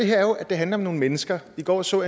her er jo at det handler om nogle mennesker i går så